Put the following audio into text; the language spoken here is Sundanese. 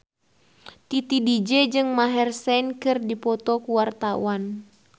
Titi DJ jeung Maher Zein keur dipoto ku wartawan